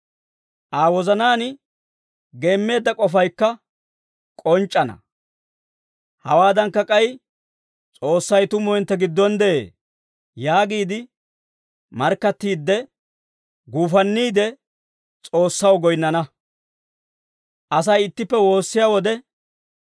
Aa wozanaan geemmeedda k'ofaykka k'onc'c'ana. Hawaadankka k'ay, «S'oossay tumu hintte giddon de'ee» yaagiide markkattiidde, guufanniide S'oossaw goyinnana.